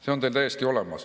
See on teil täiesti olemas.